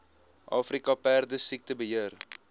afrika perdesiekte beheer